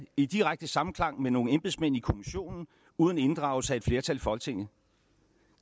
i direkte samklang med nogle embedsmænd i kommissionen uden inddragelse af et flertal i folketinget